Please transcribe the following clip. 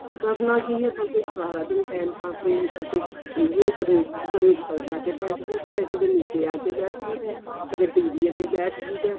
ਕਰਨਾ ਕੀ ਏ ਬੱਸ ਸਾਰਾ ਦਿਨ time pass ਇਹੀ ਏ ਕਦੇ ਕਦੇ ਉੱਪਰ ਜਾ ਕੇ ਬੈਠ ਜੀ ਦਾ ਕਦੇ ਨੀਚੇ ਜਾ ਕੇ ਬੈਠ ਜੀ ਦਾ ਕਦੇ TV ਅੱਗੇ ਬੈਠ ਜੀ ਦਾ